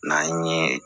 N'an ye